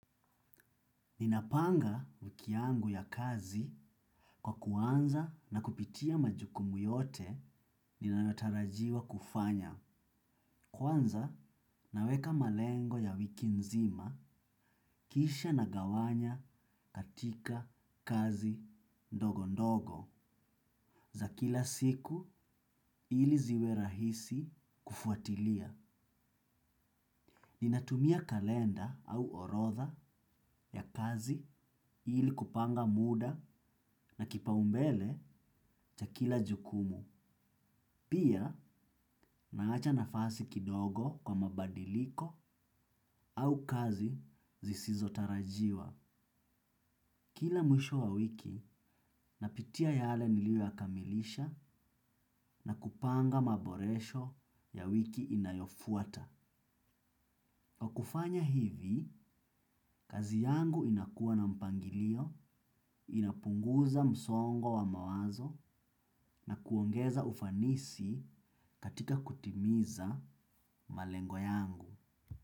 Ninapanga wiki yangu ya kazi kwa kuanza na kupitia majukumu yote ninayotarajiwa kufanya. Kwanza naweka malengo ya wiki nzima kisha nagawanya katika kazi ndogo ndogo za kila siku ili ziwe rahisi kufuatilia. Ninatumia kalenda au orodha ya kazi ili kupanga muda na kipaumbele cha kila jukumu. Pia naacha nafasi kidogo kwa mabadiliko au kazi zisizo tarajiwa. Kila mwisho wa wiki, napitia yale nilio yakamilisha na kupanga maboresho ya wiki inayofuata. Kwa kufanya hivi, kazi yangu inakuwa na mpangilio, inapunguza msongo wa mawazo na kuongeza ufanisi katika kutimiza malengo yangu.